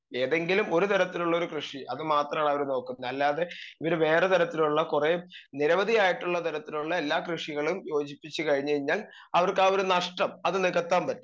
speaker 2 ഏതെങ്കിലും ഒരു തരത്തിലുള്ളൊരു കൃഷി അത് മാത്രാണ് അവര് നോക്കുന്നത് അല്ലാതെ ഇവര് വേറെ തരത്തിലുള്ള കൊറേ നിരവധി ആയിട്ടുള്ള തരത്തിലുള്ള എല്ലാ കൃഷികളും യോജിപ്പിച്ച്‌ കഴിഞ്ഞഴ്ഞ്ഞാൽ അവർക്കാ ഒരു നഷ്ട്ടം അത് നികത്താൻ പറ്റും